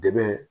Dɛmɛ